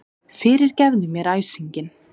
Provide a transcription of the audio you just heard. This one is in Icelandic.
Fyrirgefðu mér æsinginn.